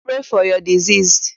Pray for your deceased!